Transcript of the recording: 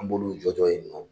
An b'olu jɔjɔ ye dɔrɔn